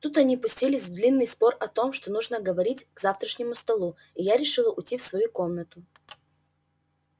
тут они пустились в длинный спор о том что нужно говорить к завтрашнему столу и я решила уйти в свою комнату